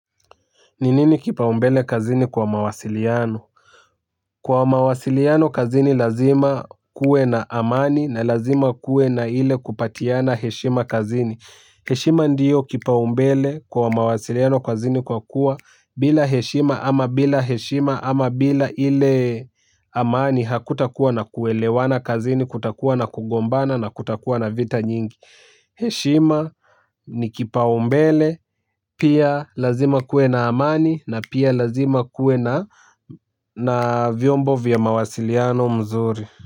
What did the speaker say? Ni nini kipa umbele kazini kwa mawasiliano? Kwa mawasiliano kazini lazima kuwe na amani na lazima kuwe na ile kupatiana heshima kazini. Heshima ndiyo kipaumbele kwa mawasiliano kazini kwa kuwa bila heshima ama bila heshima ama bila ile amani hakutakuwa na kuelewana kazini kutakuwa na kugombana na kutakuwa na vita nyingi. Heshima ni kipaumbele pia lazima kuwe na amani na pia lazima kuwe na na vyombo vya mawasiliano mzuri.